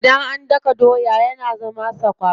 Idan an daka doya yana zama sakwara.